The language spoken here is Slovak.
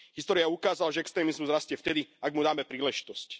História ukázala, že extrémizmus rastie vtedy, ak mu dáme príležitosť.